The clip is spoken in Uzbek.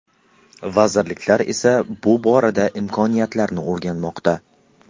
Vazirliklar esa bu borada imkoniyatlarni o‘rganmoqda.